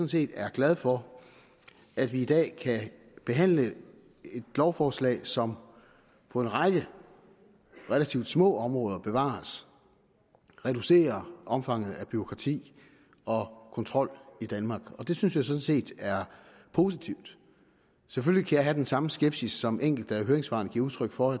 set er glad for at vi i dag kan behandle et lovforslag som på en række relativt små områder bevares reducerer omfanget af bureaukrati og kontrol i danmark og det synes jeg sådan set er positivt selvfølgelig jeg have den samme skepsis som enkelte af høringssvarene giver udtryk for